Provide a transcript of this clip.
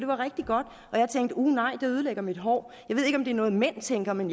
var rigtig godt og jeg tænkte uh nej det ødelægger mit hår jeg ved ikke om det er noget mænd tænker men